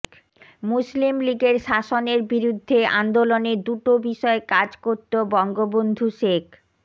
মুসলিম লীগের শাসনের বিরুদ্ধে আন্দোলনে দুটো বিষয় কাজ করত বঙ্গবন্ধু শেখ